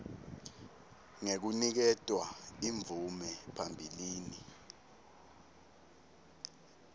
ngekuniketwa imvume phambilini